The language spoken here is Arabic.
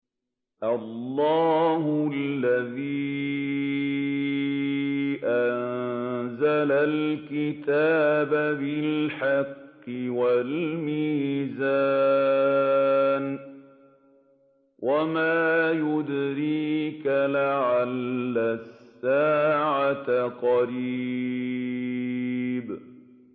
اللَّهُ الَّذِي أَنزَلَ الْكِتَابَ بِالْحَقِّ وَالْمِيزَانَ ۗ وَمَا يُدْرِيكَ لَعَلَّ السَّاعَةَ قَرِيبٌ